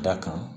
Da kan